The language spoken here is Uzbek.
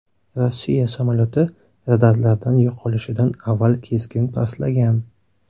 Rossiya samolyoti radarlardan yo‘qolishidan avval keskin pastlagan.